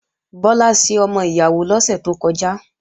Bọ́lá ṣe ọmọ ìyàwó lọ́sẹ̀ tó kọjá